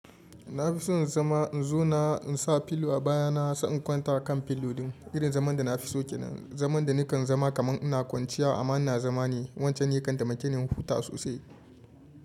Na fi so in zama in zouna insa pillow a baya na sai in kwanta akan pillow din irin zaman da na fi so kenan. Zaman da nikan zama kaman ina kwanciya amma ina zama ne. Wancan ya kan taimake ni in huta sosai.